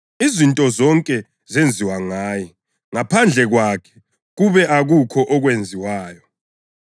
Izinto zonke zenziwa ngaye; ngaphandle kwakhe kube akukho okwenziwayo.